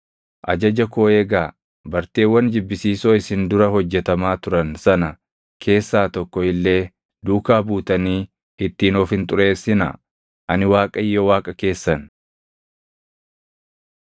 Ajaja koo eegaa; barteewwan jibbisiisoo isin dura hojjetamaa turan sana keessaa tokko illee duukaa buutanii ittiin of hin xureessinaa; ani Waaqayyo Waaqa keessan.’ ”